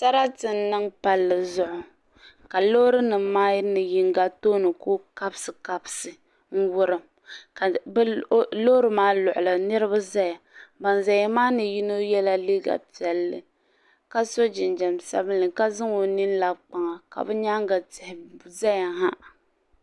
Sarati n niŋ palli zuɣu ka loori nimmaa ni yino kuli kabsikabsi n wurim ka loori luɣuli niriba zaya ban zaya maani yino yɛla liiga piɛlli ka so jinjiɛm sabinli ka zaŋ o nini labi kpaŋa ka bɛ nyaanga tihi zaya ha.